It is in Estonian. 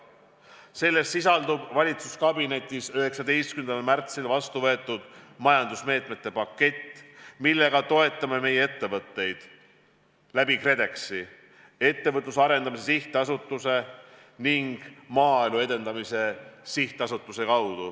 Selles sisaldub valitsuskabinetis 19. märtsil vastu võetud majandusmeetmete pakett, millega toetame oma ettevõtteid läbi KredExi, Ettevõtluse Arendamise Sihtasutuse ning Maaelu Edendamise Sihtasutuse.